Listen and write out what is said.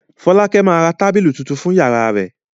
Fọ́lákẹ́ máa ra tábìlì tuntun fún ìyàrá rẹ̀.